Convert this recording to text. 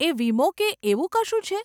એ વીમો કે એવું કશું છે?